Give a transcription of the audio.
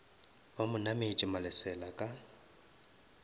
ba mo nametše malesela ka